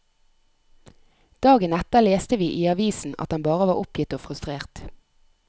Dagen etter leste vi i avisa at han bare var oppgitt og frustrert.